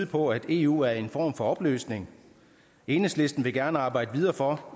på at eu er i en form for opløsning enhedslisten vil gerne arbejde videre for